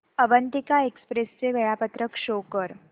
Avantika express चे वेळापत्रक show कर